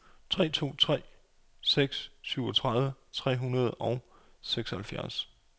tre to tre seks syvogtredive tre hundrede og seksoghalvfjerds